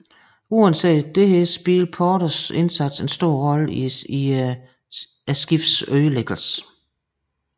Uanset dette spillede Porters indsats en stor rolle i skibets ødelæggelse